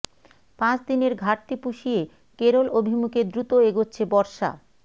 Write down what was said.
পাঁচ দিনের ঘাটতি পুষিয়ে কেরল অভিমুখে দ্রুত এগোচ্ছে বর্ষা